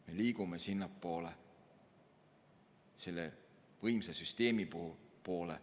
Me liigume sinnapoole, selle võimsa süsteemi poole.